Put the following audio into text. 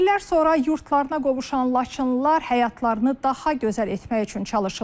İllər sonra yurtlarına qovuşan Laçınlılar həyatlarını daha gözəl etmək üçün çalışırlar.